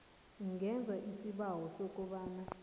ungenza isibawo sokobana